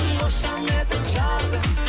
қошаметің жарқын